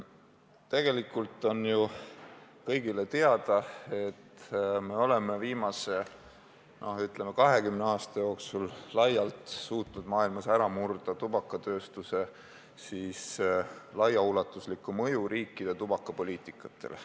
Tegelikult on kõigile teada, et me oleme viimase, ütleme, 20 aasta jooksul laialt suutnud maailmas tõkestada tubakatööstuse ulatuslikku mõju riikide tubakapoliitikale.